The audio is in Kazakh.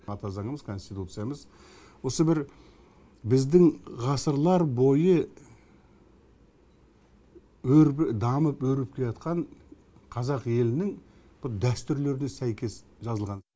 ата заңымыз конституциямыз осы бір біздің ғасырлар бойы дамып өрбіп келе қазақ елінің бір дәстүрлеріне сәйкес жазылған